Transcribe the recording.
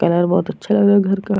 Colour बहुत अच्छा लग रहा है घर का।